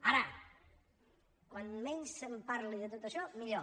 ara com menys se’n parli de tot això millor